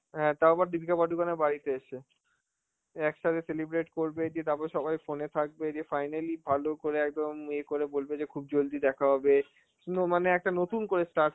হ্যাঁ তাও আবার দীপিকা পাডুকোনের বাড়িতে এসে. একসাথে celebrate করবে, দিয়ে তারপর সবাই phone এ থাকবে, দিয়ে finally ভালো করে একদম এ করে বলবে যে খুব জলদি দেখা হবে, নো~ মানে একটা নতুন করে start